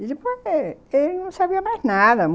Ele não sabia mais nada.